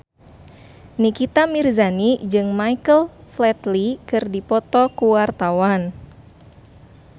Nikita Mirzani jeung Michael Flatley keur dipoto ku wartawan